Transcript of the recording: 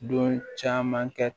Don caman kɛ